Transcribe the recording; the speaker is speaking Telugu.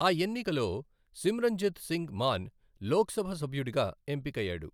ఆ ఎన్నికలో సిమ్రంజిత్ సింగ్ మాన్ లోక్ సభ సభ్యుడుగా ఎంపికయ్యాడు.